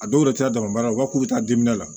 A dɔw yɛrɛ cayara u b'a k'u bɛ taa la